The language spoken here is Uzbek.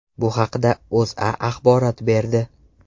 Bu haqda O‘zA axborot berdi .